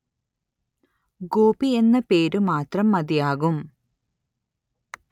ഗോപി എന്ന പേരു മാത്രം മതിയാകും